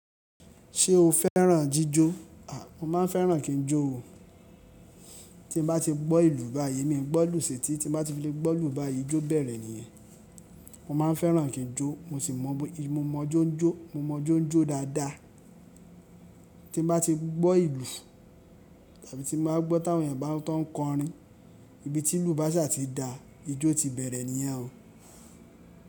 Ṣé o fẹ́ràn jíjó? A, mo máa ń fẹ́ràn kí n jó o. Tí ń bá ti gbọ́ ìlù báyìí, èmi ń gbọ́ ìlù síi etí ti mo bá ti fi lè gbọ́ ìlù báyìí, ijó bẹ̀rẹ̀ nìyẹn. Mo ma ń fẹ́ràn kí n jó, mo sì mọ mo mọ ijó jó, mo mọ ijó jó dáadáa. Tí ń bá ti gbọ́ ìlù tàbí tí ń bá gbọ́ tí àwọn èèyàn bá tọ́ n kọrin, ibi tí ìlù bá ṣà ti da, ijó ti bẹ̀rẹ̀ nìyẹn o.